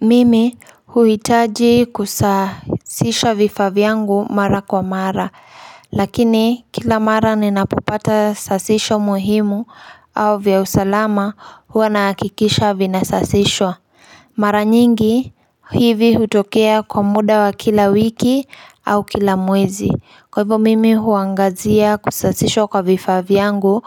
Mimi huitaji kusasisha vifaa vyangu mara kwa mara Lakini kila mara ninapopata sasisho muhimu au vya usalama huwa nahakikisha vinasasishwa Mara nyingi hivi hutokea kwa muda wa kila wiki au kila mwezi Kwa hivyo mimi huangazia kusasishwa kwa vifaa vyangu